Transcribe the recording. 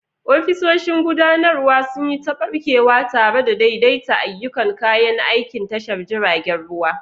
Ofisoshin gudanarwa sun yi ta ɓarkewa tare da daidaita ayyukan kayan aikin tashar jiragen ruwa.